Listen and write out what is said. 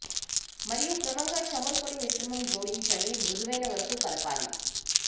మరియు క్రమంగా చమురు పొడి మిశ్రమం జోడించండి మృదువైన వరకు కలపాలి